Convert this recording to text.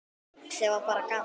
Sem var bara gaman.